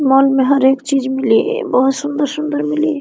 Mall हर एक चीज़ मिली बहुत सुंदर-सुंदर मिली।